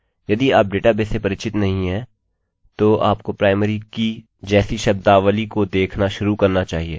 यदि आप डेटाबेसेस से परिचित नहीं हैं तो आपको प्राइमरीprimary कीkeyजैसी शब्दावली को देखना शुरू करना चाहिए